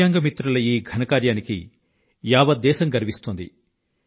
దివ్యాంగ మిత్రుల ఈ ఘనకార్యానికి యావద్దేశం గర్విస్తోంది